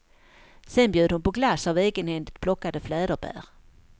Sen bjöd hon på glass av egenhändigt plockade fläderbär.